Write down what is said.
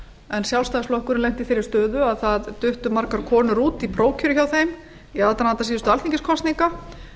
en sjálfstæðisflokkurinn lenti í þeirri stöðu að það duttu margar konur út í prófkjöri hjá þeim í aðdraganda síðustu alþingiskosninga